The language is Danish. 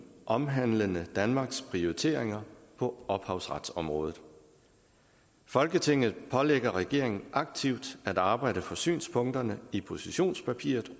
omhandlende danmarks prioriteringer på ophavsretsområdet folketinget pålægger regeringen aktivt at arbejde for synspunkterne i positionspapiret